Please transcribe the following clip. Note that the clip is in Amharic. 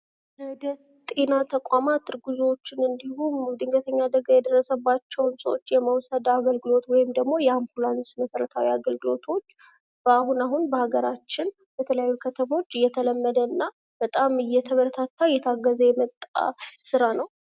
ወደጤና ተቋማት እርጉዞችን እንዲሁም ድንገተኛ አደጋ የደረሰባቸውን ሰዎች የመውሰድ አገልግሎት ወይም ደግሞ የአምቡላንስ መሰረታዊ አገልግሎቶች በአሁን አሁን በሃገራችን በተለያዩ ከተሞች እየተለመደ እና በጣም እየተበረታታ እየታገዘ የመጣ ስራ ነው።